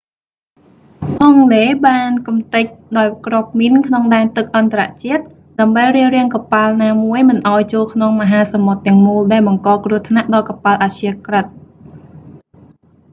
អង់គ្លេសបានកម្ទេចដោយគ្រាប់មីនក្នុងដែនទឹកអន្តរជាតិ ដើម្បីរារាំងកប៉ាល់ណាមួយមិនឱ្យចូលក្នុងមហាសមុទ្រទាំងមូលដែលបង្កគ្រោះថ្នាក់ដល់កប៉ាល់អព្យាក្រឹត